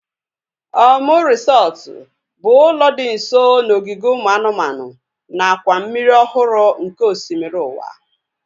Omu resọtu bụ ụlọ dị nso n'ogige ụmụ anụmanụ nakwa mmiri ọhụrụ nke osimiri ụwa